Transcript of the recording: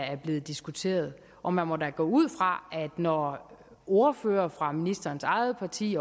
er blevet diskuteret og man må da gå ud fra at det når ordførere fra ministerens eget parti